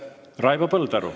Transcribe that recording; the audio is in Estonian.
Raivo Põldaru.